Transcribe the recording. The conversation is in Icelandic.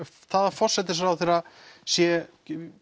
það að forsætisráðherra sé